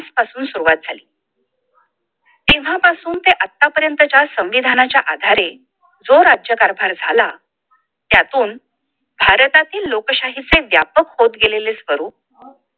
पासून शुरुवात झाली. तेव्हा पासून ते आत्ता पर्यंतच्या संविधानाच्या आधारे जो राज्य कारभार झाला, त्यातून भारतातील लोकशाही चे व्यापक होत गेलेले स्वरूप